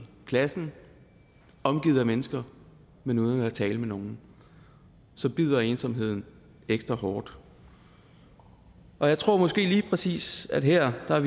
klassen omgivet af mennesker men uden at tale med nogen så bider ensomheden ekstra hårdt og jeg tror måske lige præcis her her